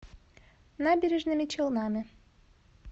набережными челнами